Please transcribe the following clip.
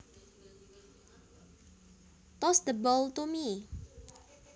Toss the ball to me